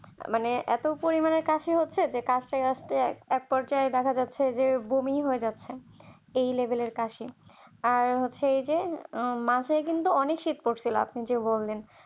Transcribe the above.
মানে এত পরিমান এর কাছে হচ্ছে যে কাজটা একপর্যায়ে দেখা যাচ্ছে যে বমি হয়ে যাচ্ছে এই লেভেলের কাছে আর হচ্ছে আপনি যে বললেন